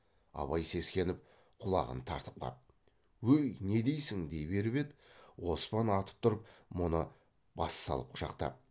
абай сескеніп құлағын тартып қап өй не дейсің дей беріп еді оспан атып тұрып мұны бассалып құшақтап